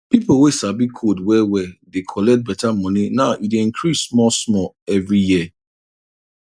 pipo wey sabi code well well dey collect better money now e dey increase small small every year